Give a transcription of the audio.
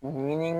Ɲini